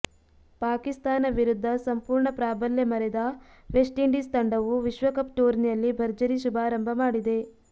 ಪಾಕಿಸ್ತಾನ ವಿರುದ್ಧ ಸಂಪೂರ್ಣ ಪ್ರಾಬಲ್ಯ ಮೆರೆದ ವೆಸ್ಟ್ ಇಂಡೀಸ್ ತಂಡವು ವಿಶ್ವಕಪ್ ಟೂರ್ನಿಯಲ್ಲಿ ಭರ್ಜರಿ ಶುಭಾರಂಭ ಮಾಡಿದೆ